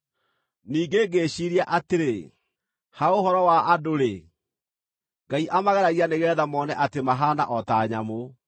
Ningĩ ngĩĩciiria atĩrĩ, “Ha ũhoro wa andũ-rĩ, Ngai amageragia nĩgeetha mone atĩ mahaana o ta nyamũ.